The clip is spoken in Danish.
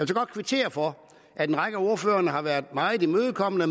godt kvittere for at en række af ordførerne har været meget imødekommende